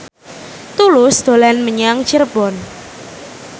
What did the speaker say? Tulus dolan menyang Cirebon